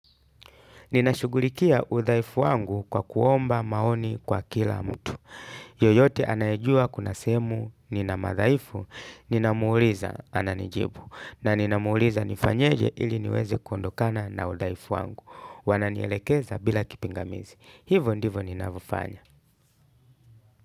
Ninashughulikia udhaifu wangu kwa kuomba maoni kwa kila mtu. Yoyote anayejua kuna sehemu nina madhaifu, ninamuuliza ananijibu. Na ninamuuliza nifanyeje ili niweze kundokana na udhaifu wangu. Wananielekeza bila kipingamizi. Hivo ndivo ninavofanya.